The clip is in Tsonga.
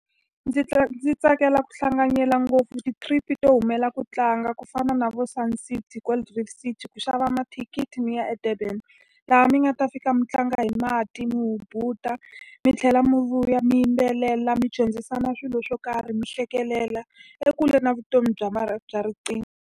Ndzi ndzi tsakela ku hlanganela ngopfu ti-trip-i to humela ku tlanga ku fana na vo Sun City, Gold Reef, ku xava mathikithi mi ya eDurban. Laha mi nga ta fika mi tlanga hi mati, mi hubuta, mi tlhela mi vuya mi yimbelela, mi dyondzisana swilo swo karhi, mi hlekelela, ekule na vutomi bya bya riqingho.